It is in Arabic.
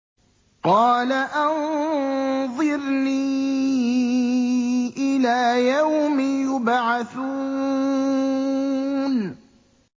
قَالَ أَنظِرْنِي إِلَىٰ يَوْمِ يُبْعَثُونَ